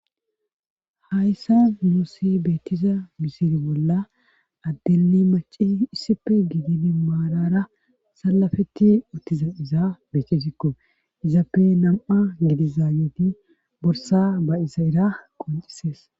hayssa nuusi beettiza misiri bolla addeli maci issife giidini maalara salafeti uttiza iza beetizikko izappe nam7a gidi zaaneti borsa ba iza era qoncisees